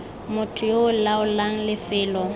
motho yo o laolang lefelo